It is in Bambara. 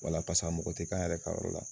Wala paseke a mɔgɔ tɛ k'an yɛrɛ ka yɔrɔ la